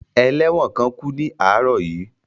Ẹlẹ́wọ̀n kan kú ní àárọ̀ yìí